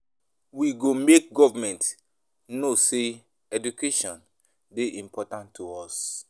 We go make government know sey education dey important to us.